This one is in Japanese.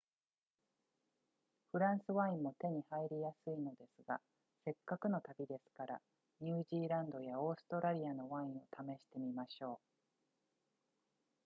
フランスワインも手に入りやすいのですがせっかくの旅ですからニュージーランドやオーストラリアのワインを試してみましょう